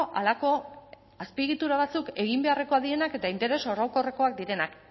halako azpiegitura batzuk egin beharrekoak direnak eta interes orokorrekoak direnak